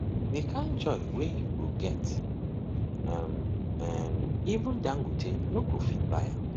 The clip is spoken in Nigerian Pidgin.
di kain joy wey yu go get um eh even dangote no go fit buy am